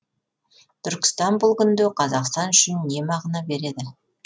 түркістан бұл күнде қазақстан үшін не мағына береді